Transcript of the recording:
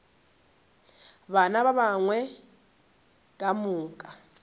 bana ba gagwe ka moka